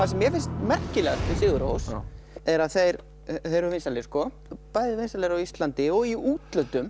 sem mér finnst merkilegast við SigurRós er að þeir eru vinsælir sko bæði vinsælir á Íslandi og í útlöndum